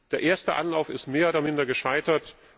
Der erste Anlauf ist mehr oder minder gescheitert.